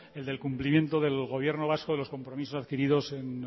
el del cumplimiento del gobierno vasco de los compromisos adquiridos en